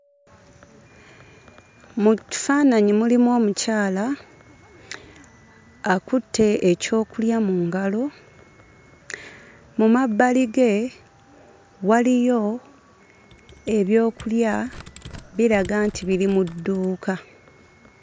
Mu kifaananyi mulimu omukyala, akutte ekyokulya mu ngalo. Mu mabbali ge waliyo ebyokulya, biraga nti biri mu dduuka.